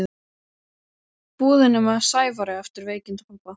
búðinni með Sævari eftir veikindi pabba.